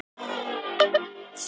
Það væri ekki gott mót.